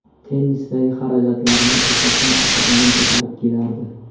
Tennisdagi xarajatlarimni asosan ota-onam ko‘tarib kelardi.